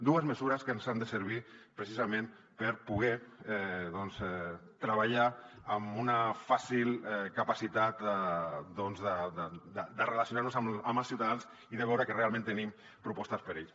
dues mesures que ens han de servir precisament per poder doncs treballar amb una fàcil capacitat de relacionar nos amb els ciutadans i de veure que realment tenim propostes per a ells